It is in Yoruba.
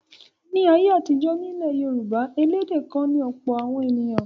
Ní ayé àtijọ́ nílẹ̀ Yorùbá elédè kan ni ọ̀pọ̀ àwọn ènìyàn.